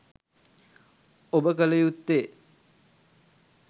ඔබ කල යුත්තේ